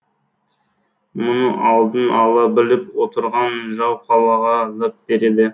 мұны алдын ала біліп отырған жау қалаға лап береді